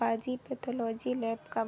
पाजी pathology lab का ब --